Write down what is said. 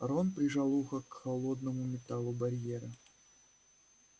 рон прижал ухо к холодному металлу барьера